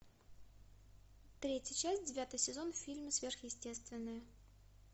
третья часть девятый сезон в фильме сверхъестественное